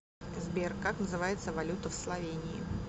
сбер как называется валюта в словении